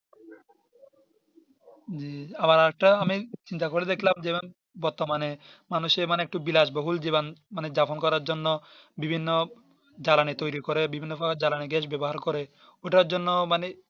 জি আমার একটা আমি সিজিনটা করে দেখলাম বর্তমানে মানুষে একটু বিলাস বহন মানে যাপন করার জন্য বিভিন্ন জ্বালানি তৌরি করে বিভিন্ন কাননে Gas ব্যবহার করে ঐটার জন্য মানে